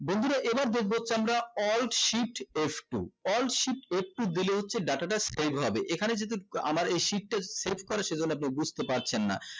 বন্ধুরা এবার দেখবো হচ্ছে আমরা alt shift f two alt shift f two দিলে হচ্ছে data টা save হবে এখানে যদি আমার এই sheet টা save করে সেখানে আপনারা বুজতে পারছেন না